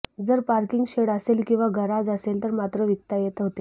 जर parking shed असेल किंवा गराज असेल तर मात्र विकता येत होते